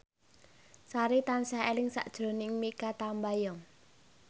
Sari tansah eling sakjroning Mikha Tambayong